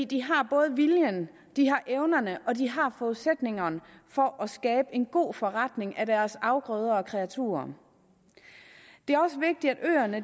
de har både viljen de har evnerne og de har forudsætningerne for at skabe en god forretning af deres afgrøder og kreaturer det er også vigtigt at øerne